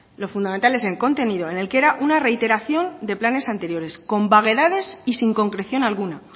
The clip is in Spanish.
lo fundamental es en contenido en el que era una reiteración de planes anteriores con vaguedades y sin concreción alguna